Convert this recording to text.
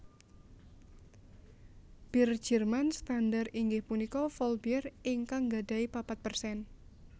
Bir Jerman standar inggih punika Vollbier ingkang nggadahi papat persen